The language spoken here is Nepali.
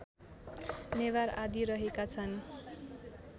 नेवार आदि रहेका छन्